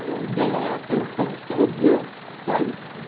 Ela pegou e escreveu, sabe?